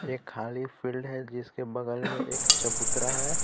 एक खाली फील्ड है जिसके बगल में एक चबूतरा है.